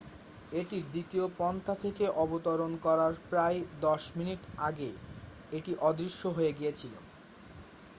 এটির দ্বিতীয় পন্থা থেকে অবতরণ করার প্রায় দশ মিনিট আগে এটি অদৃশ্য হয়ে গিয়েছিল